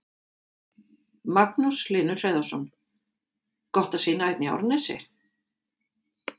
Magnús Hlynur Hreiðarsson: Gott að sýna hérna í Árnesi?